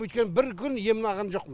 өйткені бір күн емін алған жоқпын